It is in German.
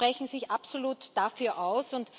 Sie sprechen sich absolut dafür aus.